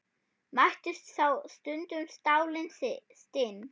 Mættust þá stundum stálin stinn.